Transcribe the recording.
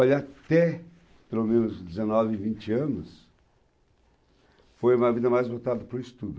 Olha, até pelo menos dezenove, vinte anos, foi uma vida mais voltada para o estudo.